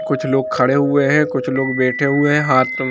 कुछ लोग खड़े हुए है कुछ लोग बैठे हुए है हाथ मे--